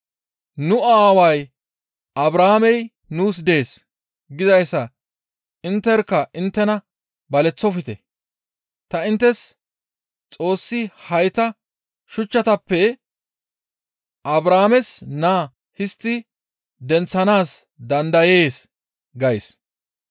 ‹Nu aaway Abrahaamey nuus dees› gizayssan intterkka inttena baleththofte; ta inttes Xoossi hayta shuchchatappe Abrahaames naa histti denththanaas dandayees gays.